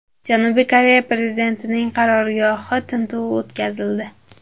Janubiy Koreya prezidentining qarorgohida tintuv o‘tkazildi.